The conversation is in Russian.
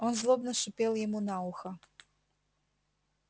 он злобно шипел ему на ухо